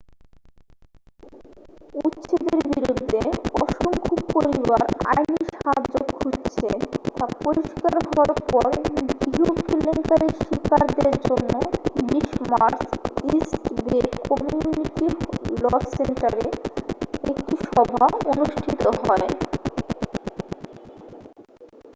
উচ্ছেদের বিরুদ্ধে অসংখ্য পরিবার আইনী সাহায্য খুঁজছে তা পরিষ্কার হওয়ার পর গৃহ কেলেঙ্কারির শিকারদের জন্য 20 March East Bay community law সেন্টারে একটি সভা অনুষ্ঠিত হয়